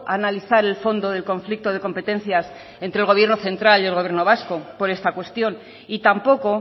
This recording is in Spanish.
a analizar el fondo del conflicto de competencias entre el gobierno central y el gobierno vasco por esta cuestión y tampoco